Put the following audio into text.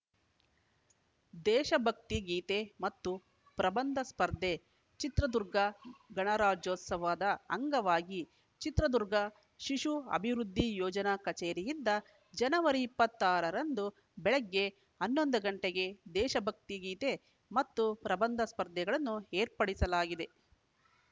ದೇಶಭಕ್ತಿ ಗೀತೆ ಮತ್ತು ಪ್ರಬಂಧ ಸ್ಪರ್ಧೆ ಚಿತ್ರದುರ್ಗ ಗಣರಾಜ್ಯೋತ್ಸವದ ಅಂಗವಾಗಿ ಚಿತ್ರದುರ್ಗ ಶಿಶು ಅಭಿವೃದ್ದಿ ಯೋಜನಾ ಕಚೇರಿಯಿಂದ ಜನವರಿ ಇಪ್ಪತ್ತ್ ಆರ ರಂದು ಬೆಳಗ್ಗೆ ಹನ್ನೊಂದು ಗಂಟೆಗೆ ದೇಶಭಕ್ತಿ ಗೀತೆ ಮತ್ತು ಪ್ರಬಂಧ ಸ್ಪರ್ಧೆಗಳನ್ನು ಏರ್ಪಡಿಸಲಾಗಿದೆ